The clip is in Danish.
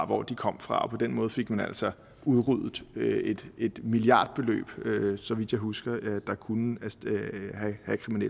hvor de kom fra og på den måde fik man altså udryddet et milliardbeløb så vidt jeg husker der kunne have